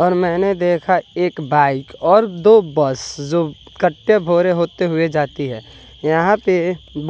और मैंने देखा एक बाइक और दो बस जो कट्टे भोरे होते हुए जाती है यहां पे